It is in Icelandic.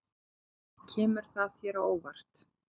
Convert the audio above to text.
Kemur það þér á óvart?